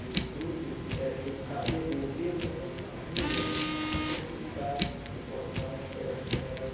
E o fruto é tentar devolver para a minha família uma tranquilidade para que eu possa estar mais perto delas.